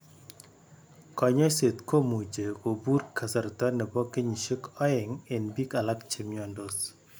Konyoiset komuche kopur kasarta nepo kenyisiek oeng en pik alak chemiondos.